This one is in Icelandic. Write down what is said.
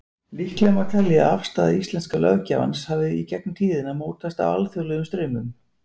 Líklegt má telja að afstaða íslenska löggjafans hafi í gegnum tíðina mótast af alþjóðlegum straumum.